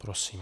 Prosím.